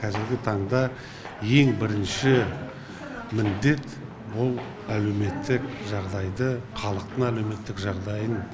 кәзіргі таңда ең бірінші міндет бұл әлеуметтік жағдайды халықтың әлеуметтік жағдайын